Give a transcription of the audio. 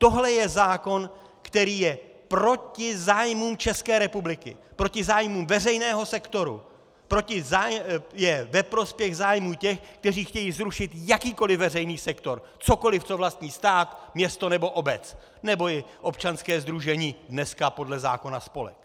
Tohle je zákon, který je proti zájmům České republiky, proti zájmům veřejného sektoru, je ve prospěch zájmů těch, kteří chtějí zrušit jakýkoliv veřejný sektor, cokoliv, co vlastní stát, město nebo obec nebo i občanské sdružení, dneska podle zákona spolek.